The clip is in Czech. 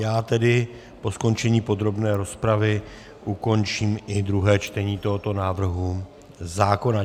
Já tedy po skončení podrobné rozpravy ukončím i druhé čtení tohoto návrhu zákona.